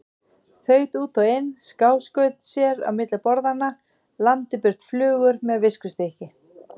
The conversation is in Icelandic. Þaut út og inn, skáskaut sér á milli borðanna, lamdi burt flugur með viskustykki.